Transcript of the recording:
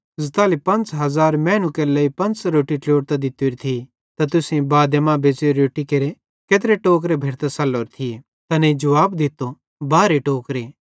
ज़ताली 5000 मैनू केरे लेइ पंच़ रोट्टी ट्लोड़तां दित्तोरी थी त तुसेईं बादे मां बच़्च़ोरी रोट्टी केरे केत्रे टोकरे भेरतां सल्लोरे थिये तैनेईं तैस जुवाब दित्तो बारहे टोकरे